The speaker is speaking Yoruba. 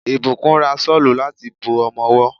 Ìbùkún ra Ṣọ́lù láti bo ọmọwọ́.